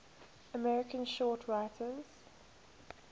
american short story writers